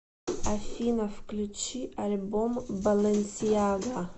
афина включи альбом балэнсиага